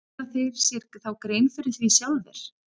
Gera þeir sér þá grein fyrir því sjálfir?